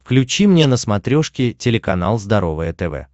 включи мне на смотрешке телеканал здоровое тв